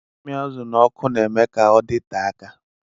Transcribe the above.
Ịmị azụ n'ọkụ na-eme ka ọdite aka.